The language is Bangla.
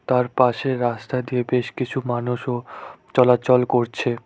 তার পাশের রাস্তা দিয়ে বেশ কিছু মানুষও চলাচল করছে।